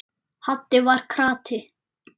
Haddi var krati.